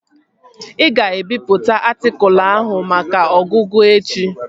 Ị ga-ebipụta atịkụlu ahụ maka ọgụgụ echi?